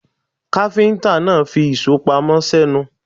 Káfíńtà náà fi ìṣó pamọ́ sẹ́nu.